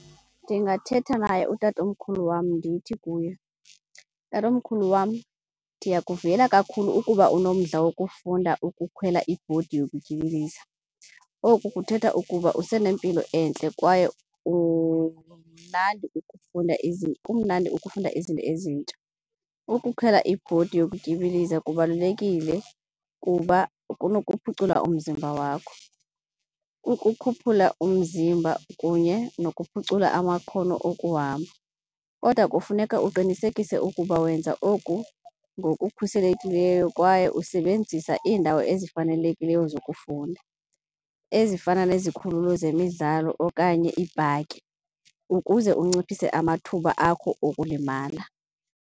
Ndingathetha naye utatomkhulu wam ndithi kuye, tatomkhulu wam, ndiyakuvuyela kakhulu ukuba unomdla wokufunda ukukhwela ibhodi zokutyibiliza. Oku kuthetha ukuba usenempilo entle kwaye umnandi ukufunda kumnandi ukufunda izinto ezintsha. Ukukhwela ibhodi zokutyibiliza kubalulekile kuba kunokuphucula umzimba wakho, ukukhuphula umzimba kunye nokuphucula amakhono okuhamba. Kodwa kufuneka uqinisekise ukuba wenza oku ngokukhuselekileyo kwaye usebenzisa indawo ezifanelekileyo zokufunda ezifana nezikhululo zemidlalo okanye iipaki ukuze unciphise amathuba akho okulimala.